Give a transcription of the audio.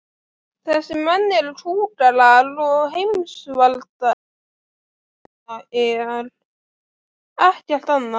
Þessir menn eru kúgarar og heimsvaldasinnar, ekkert annað.